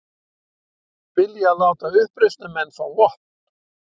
Vilja láta uppreisnarmenn fá vopn